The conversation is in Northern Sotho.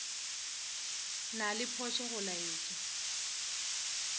na le phošo go laetša